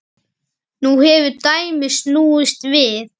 Nú hefur dæmið snúist við.